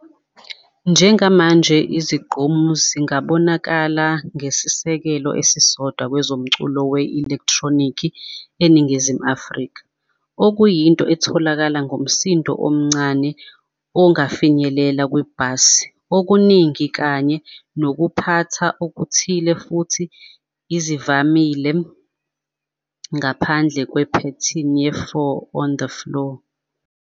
Njengamanje izigqomu zingabonakali ngesisekelo esisodwa kwezomculo we-elektronikhi eNingizimu Afrika, okuyinto iyatholakala ngomsindo omncane, ongafinyelela kwe-bass okuningi kanye nokuphatha okuthile, futhi ezivamile ngaphandle kwe-pattern ye-four-on-the-floor.